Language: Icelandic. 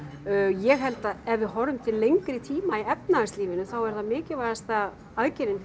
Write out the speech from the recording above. ég held að ef við horfum til lengri tíma í efnahagslífinu þá er það mikilvægasta aðgerðin